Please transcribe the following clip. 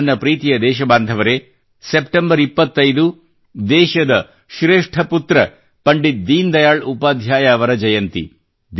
ನನ್ನ ಪ್ರೀತಿಯ ದೇಶಬಾಂಧವರೇ ಸೆಪ್ಟೆಂಬರ್ 25 ದೇಶದ ಶ್ರೇಷ್ಠ ಪುತ್ರ ಪಂಡಿತ್ ದೀನ್ ದಯಾಲ್ ಉಪಾಧ್ಯಾಯ ಅವರ ಜಯಂತಿ